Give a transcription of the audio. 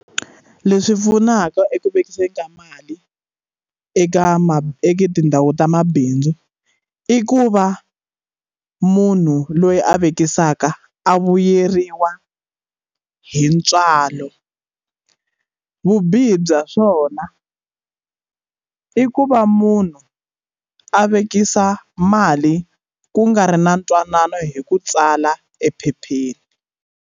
Leswi pfunaka eku vekisa ka mali eka ma eka tindhawu ta mabindzu i ku va munhu loyi a vekisa mhaka a vuyeriwa hi ntswalo vubihi bya swona i ku va munhu a vekisa mali ku nga ri na ntwanano hi ku tsala ephepheni.